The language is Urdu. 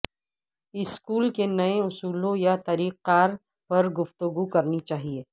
سکول کے نئے اصولوں یا طریق کار پر گفتگو کرنی چاہیئے